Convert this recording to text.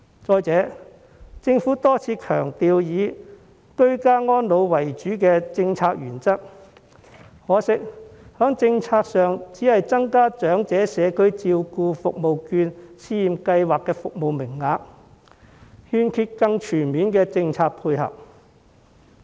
再者，政府多次強調以居家安老為主的政策原則，但可惜在政策上只增加長者社區照顧服務券試驗計劃的服務名額，欠缺更全面的政策配合。